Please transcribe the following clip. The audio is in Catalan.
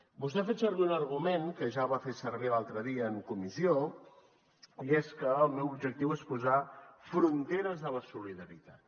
vostè ha fet servir un argument que ja va fer servir l’altre dia en comissió i és que el meu objectiu és posar fronteres a la solidaritat